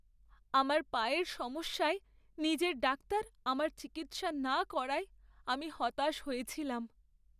আমার পায়ের সমস্যায় নিজের ডাক্তার আমার চিকিৎসা না করায় আমি হতাশ হয়েছিলাম।